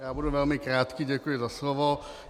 Já budu velmi krátký, děkuji za slovo.